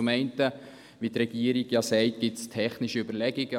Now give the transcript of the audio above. Zum einen sagt die Regierung, es gebe technische Überlegungen.